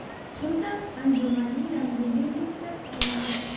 Xususan, anjumanning ramziy belgisi tasdiqlandi.